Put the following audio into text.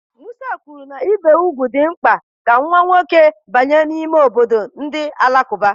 Musa kwuru na ibi úgwù dị mkpa ka nwa nwoke banye n'ime obodo ndị Alakụba.